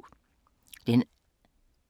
Netbiblioteket E17 er blevet til Nota.dk